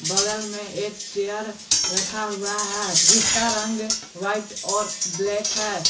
बगल में एक चेयर रखा हुआ है जिसका रंग व्हाइट और ब्लैक है।